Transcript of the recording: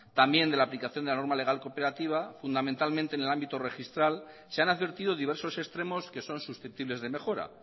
también de la aplicación de la norma legal cooperativa fundamentalmente en el ámbito registral se han advertido diversos extremos que son susceptibles de mejora